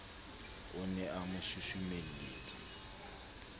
o ne a mo susumelletsa